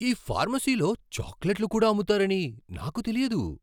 ఈ ఫార్మసీలో చాక్లెట్లు కూడా అమ్ముతారని నాకు తెలియదు!